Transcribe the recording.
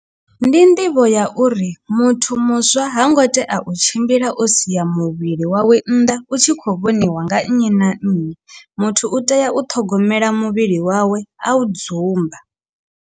Ndi nḓivho ya uri muthu muswa ha ngo tea u tshimbila o sia muvhili wawe nnḓa u tshi kho vhoniwa nga nnyi na nnyi muthu u tea u ṱhogomela muvhili wawe a u dzumba.